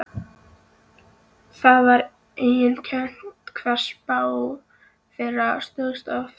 Það var einkennilegt hvað spá þeirra stóðst oft.